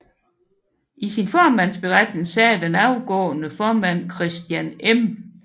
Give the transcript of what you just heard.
I sin formandsberetning sagde den afgående formand Christian M